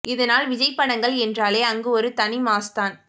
இதனால் விஜய் படங்கள் என்றாலே அங்கு ஒரு தனி மாஸ் தான்